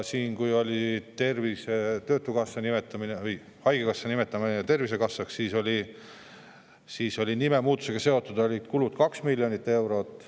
Kui oli haigekassa nimetamine Tervisekassaks, siis olid nime muutmisega seotud kulud 2 miljonit eurot.